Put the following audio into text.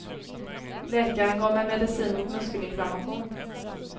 Läkaren gav mig medicin mot muskelinflammation.